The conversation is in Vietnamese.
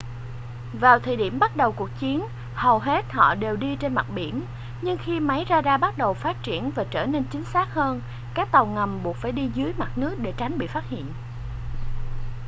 vào thời điểm bắt đầu cuộc chiến hầu hết họ đều đi trên mặt biển nhưng khi máy ra đa bắt đầu phát triển và trở nên chính xác hơn các tàu ngầm buộc phải đi dưới mặt nước để tránh bị phát hiện